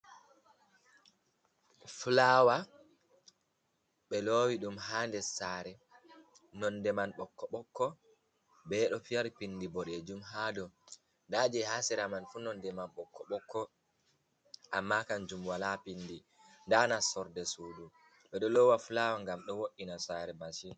Fulawa be lowi ɗum ha nder sare, nonnde man ɓokko ɓeɗo fiyari pindi bodejum hadow, nda je ha sera man fuu nonnde man ɓokko ɓokko, amma kanjum wala pindi, nda nastorde m sudu, ɓeɗo lowa fulawa ngam do wo’’ina sare majum.